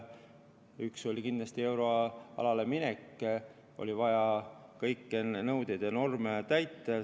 Üks oli kindlasti euroalale minek, enne oli vaja kõiki nõudeid ja norme täita.